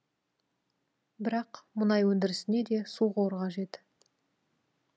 бірақ мұнай өндірісіне де су қоры қажет